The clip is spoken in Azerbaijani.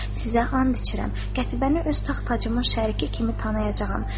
“Sizə and içirəm, Qətibəni öz taxt-tacımın şəriki kimi tanıyacağam.”